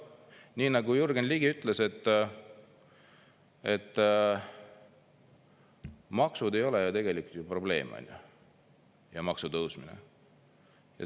Nii nagu Jürgen Ligi ütles, et maksud ei ole tegelikult probleem, maksutõusud.